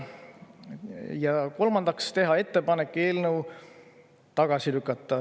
Ja kolmandaks, teha ettepanek eelnõu tagasi lükata.